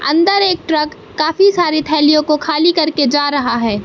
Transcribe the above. अंदर एक ट्रक काफी सारी थैलियों को खाली करके जा रहा है।